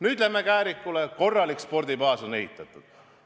Nüüd läheme Käärikule, sinna on ehitatud korralik spordibaas.